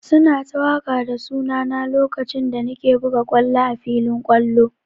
Su na ta waƙa da suna na lokacin da na ke buga ƙwallo a filin ƙwallo.